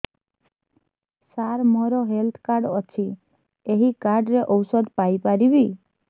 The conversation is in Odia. ସାର ମୋର ହେଲ୍ଥ କାର୍ଡ ଅଛି ଏହି କାର୍ଡ ରେ ଔଷଧ ପାଇପାରିବି